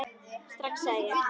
Strax, sagði ég.